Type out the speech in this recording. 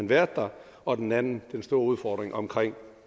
været der og den anden store udfordring omkring